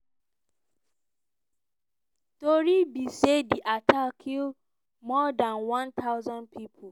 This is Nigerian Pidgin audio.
tori be say di attack kill more dan one thousand pipo.